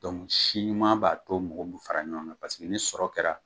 Dɔnku si ɲuman b'a to mɔgɔw bi fara ɲɔgɔn kan paseke ni sɔrɔ kɛra